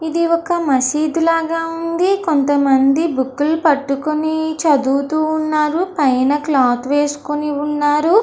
ఇది ఒక మసీదు లాగా ఉంది. కొంత మంది బూక్లు పట్టుకొని చదువుతున్నారు. పైన క్లోత్ వేసుకొని ఉన్నారు.